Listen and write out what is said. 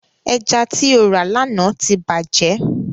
Ẹja ti o rà lána ti bàjẹ́.